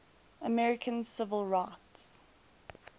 american civil rights